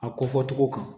A ko fɔ cogo kan